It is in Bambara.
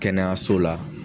Kɛnɛyaso la